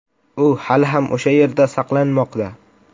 U hali ham o‘sha yerda saqlanmoqda.